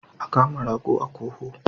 A kama rago a koho.